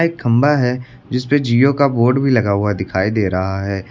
खंबा है जिस पे जिओ का बोर्ड भी लगा हुआ दिखाई दे रहा है।